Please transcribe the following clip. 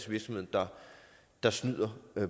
virksomheder der snyder